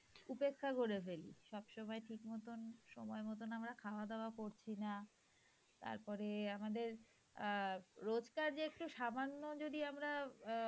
উপেক্ষা করে ফেলি সবসময় ঠিক মতো সময় মত আমরা খাওয়া-দাওয়া করছি না তারপর আমাদের অ্যাঁ রোজকার একটু সামান্য যদি আমরা অ্যাঁ